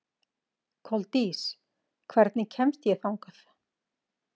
Koldís, hvernig kemst ég þangað?